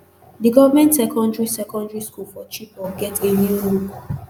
di government secondary secondary school for chibok get a new look